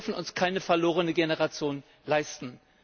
Wir dürfen uns keine verlorene Generation leisten.